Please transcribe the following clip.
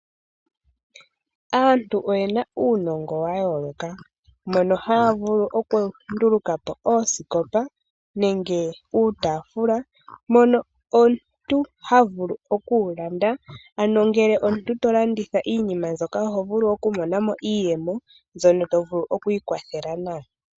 Aantu oyena uunongo wayooloka. Ohaya vulu oku nduluka po oosikopa nenge iitaafula mono omuntu ha vulu oku yi landa. Ngele omuntu ta landitha iinima mbyoka oho vulu oku mona mo iiyemo mbyono to vulu oku iikwathela nayo.